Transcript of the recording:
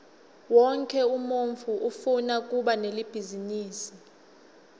wonkhe umuntfu ufuna kuba nebhizinisi